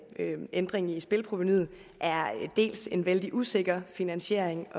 en ændring i spilleprovenuet er en vældig usikker finansiering